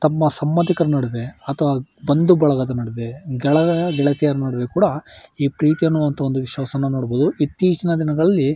ತಮ್ಮ ಸಂಬಂದಿಕರು ನಡುವೆ ಅಥವಾ ಬಂದು ಬಳಗ ನಡುವೆ ಕೆಳಗೆ ಈ ಪ್ರೀತಿ ಅನ್ನೋ ಅಂತ ಒಂದು ವಿಶ್ವಾಸವನ್ನ ನೋಡಬಹುದು. ಇತ್ತೀಚಿನ ದಿನಗಳಲ್ಲಿ--